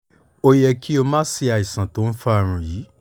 ó yẹ kí o máa ṣe àìsàn tó ń fa àrùn yìí